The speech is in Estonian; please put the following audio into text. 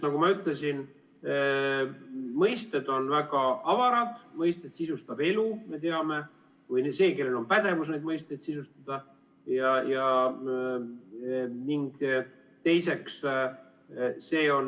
Nagu ma ütlesin, mõisted on väga avarad, mõisted sisustab elu või see, kellel on pädevus neid mõisteid sisustada.